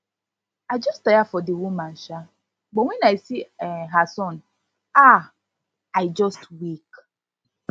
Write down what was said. i just tire for the woman um but when i see um her son um i just weak